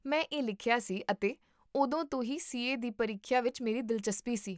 ਮੈਂ ਇਹ ਲਿਖਿਆ ਸੀ ਅਤੇ ਉਦੋਂ ਤੋਂ ਹੀ ਸੀਏ ਦੀ ਪ੍ਰੀਖਿਆ ਵਿੱਚ ਮੇਰੀ ਦਿਲਚਸਪੀ ਸੀ